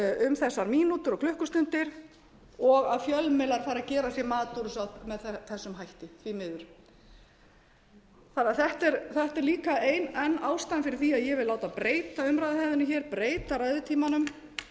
um þessar mínútur og klukkustundir og að fjölmiðlar fari að gera sér mat úr þessu með þessum hætti því miður þetta er líka enn ein ástæðan fyrir því að ég vil láta breyta umræðuhefðinni breyta ræðutímanum